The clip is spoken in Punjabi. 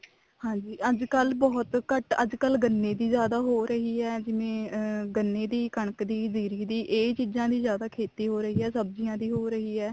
ਹਾਂਜੀ ਅੱਜਕਲ ਬਹੁਤ ਘੱਟ ਅੱਜਕਲ ਗੰਨੇ ਵੀ ਜਿਆਦਾ ਹੋ ਰਹੀ ਹੈ ਜਿਵੇਂ ਅਮ ਕਣਕ ਦੀ ਜੀਰੀ ਦੀ ਇਹ ਚੀਜ਼ਾਂ ਦੀ ਜਿਆਦਾ ਖੇਤੀ ਹੋ ਰਹੀ ਹੈ ਸਬਜੀਆਂ ਦੀ ਹੋ ਰਹੀ ਹੈ